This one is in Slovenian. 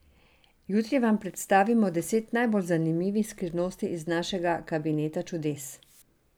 Jutri vam predstavimo deset najbolj zanimivih skrivnosti iz našega Kabineta čudes.